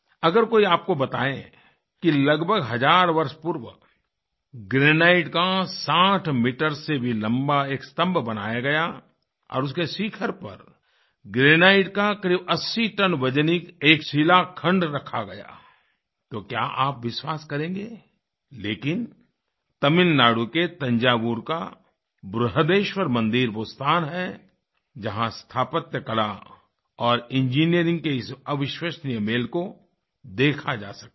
अगर कोई आपको बताए कि लगभग हज़ार वर्ष पूर्व ग्रैनाइट का 60 मीटर से भी लम्बा एक स्तंभ बनाया गया और उसके शिखर पर ग्रैनाइट का क़रीब 80 टन वज़निक एक शिलाखंड रखा गया तो क्या आप विश्वास करेंगे लेकिन तमिलनाडु के तंजावुर काबृहदेश्वर मंदिर वह स्थान है जहाँ स्थापत्य कला और इंजीनियरिंग के इस अविश्वनीय मेल को देखा जा सकता है